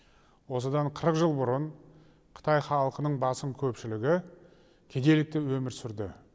осыдан қырық жыл бұрын қытай халқының басым көпшілігі кедейлікте өмір сүрді